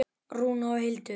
Rúna og Hildur.